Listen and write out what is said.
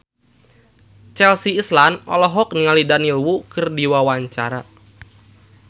Chelsea Islan olohok ningali Daniel Wu keur diwawancara